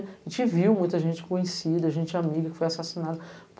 A gente viu muita gente conhecida, gente amiga que foi assassinada.